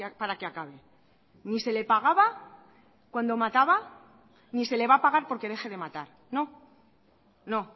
para que acabe ni se le pagaba cuando mataba ni se le va a pagar porque deje de matar no no